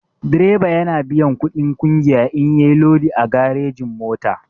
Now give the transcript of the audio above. Direba yana biyan kuɗin ƙungiya in yayi lodi a garejin-mota.